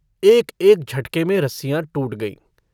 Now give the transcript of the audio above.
एक-एक झटके में रस्सियाँ टूट गईं।